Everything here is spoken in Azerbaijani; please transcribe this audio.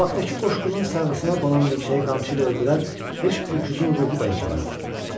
Qabaqdakı qoşqunun sırığına qonan milçəyi qamçı ilə öldürər, heç öküzün ruhu da inciməzdi.